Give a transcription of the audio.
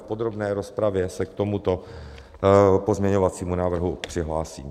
V podrobné rozpravě se k tomuto pozměňovacímu návrhu přihlásím.